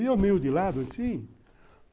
E eu meio de lado assim.